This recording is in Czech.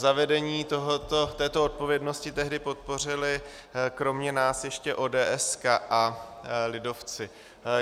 Zavedení této odpovědnosti tehdy podpořili kromě nás ještě ODS a lidovci.